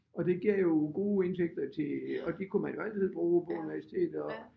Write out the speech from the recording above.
Og det gav jo gode indtægter til og det kunne man jo altid bruge på universitet og